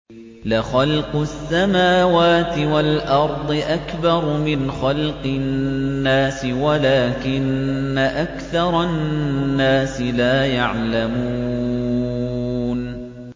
لَخَلْقُ السَّمَاوَاتِ وَالْأَرْضِ أَكْبَرُ مِنْ خَلْقِ النَّاسِ وَلَٰكِنَّ أَكْثَرَ النَّاسِ لَا يَعْلَمُونَ